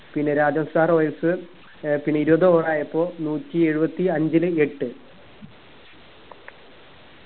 പിന്നെ രാജസ്ഥാൻ royals ഏർ പിന്നെ ഇരുപത് over ആയപ്പോ നൂറ്റി എഴുപത്തി അഞ്ചില് എട്ട്